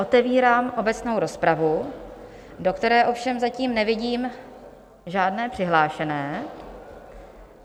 Otevírám obecnou rozpravu, do které ovšem zatím nevidím žádné přihlášené.